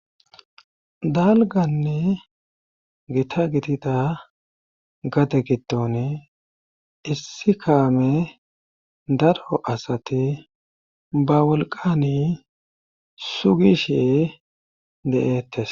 dalganne gita gidida gade giddon issi kaame daro asati ba wolqani sugishe de7eettes